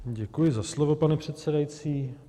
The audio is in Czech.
Děkuji za slovo, pane předsedající.